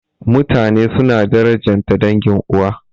Mutane suna darajanta dangin uwa.